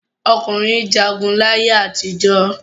Ọkùnrin jagun láyé àtijọ́.